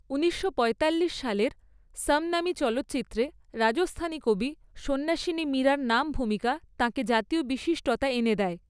ঊনিশশো পয়তাল্লিশ সালের সমনামী চলচ্চিত্রতে রাজস্থানী কবি সন্ন্যাসিনী মীরার নাম ভূমিকা তাঁকে জাতীয় বিশিষ্টতা এনে দেয়।